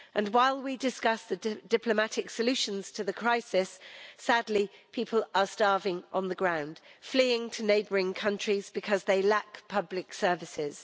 While we discuss the diplomatic solutions to the crisis, sadly, people are starving on the ground, fleeing to neighbouring countries because they lack public services.